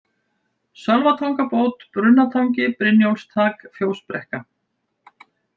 Sölvatangabót, Brunnatangi, Brynjólfstak, Fjósbrekka